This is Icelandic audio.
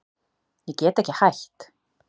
Ég get ekki hætt.